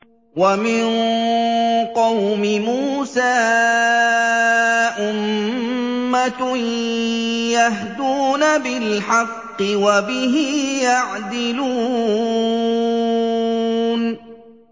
وَمِن قَوْمِ مُوسَىٰ أُمَّةٌ يَهْدُونَ بِالْحَقِّ وَبِهِ يَعْدِلُونَ